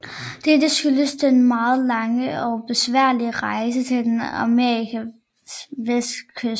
Dette skyldes den meget lange og besværlige rejse til den amerikanske vestkyst